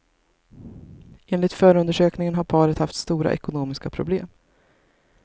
Enligt förundersökningen har paret haft stora ekonomiska problem.